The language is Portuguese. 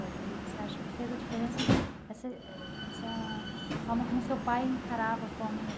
e você acha que fez a diferença esse essa forma como o seu pai encarava a forma de...